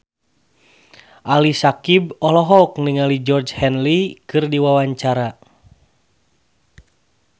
Ali Syakieb olohok ningali Georgie Henley keur diwawancara